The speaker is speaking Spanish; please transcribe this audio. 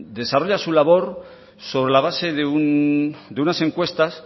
desarrolla su labor sobre la base de unas encuestas